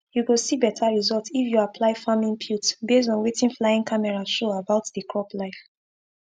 you go see better result if you apply farm inputs based on wetin flying camera show about the crop life